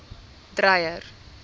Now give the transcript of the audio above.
dreyer